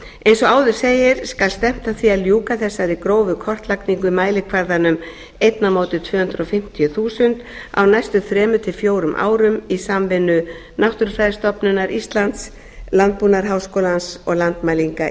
eins og áður segir skal stefnt að því að ljúka þessari gróðurkortlagningu með mælikvarðanum eitt tvö hundruð fimmtíu þúsund á næstu þrjú til fjórum árum samvinnu náttúrufræðistofnunar íslands landbúnaðarháskólans og landmælinga